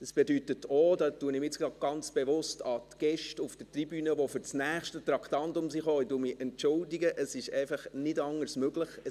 Dies bedeutet auch – da entschuldige ich mich jetzt auch gerade ganz bewusst bei den Gästen auf der Tribüne, die für das nächste Traktandum gekommen sind –, dass es einfach nicht anders möglich ist.